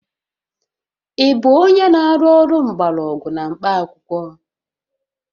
Ị bụ onye na-arụ ọrụ mgbọrọgwụ na mkpaakwụkwọ?